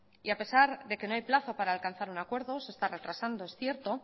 y a pesar de que no hay plazo para alcanzar un acuerdo se está retrasando es cierto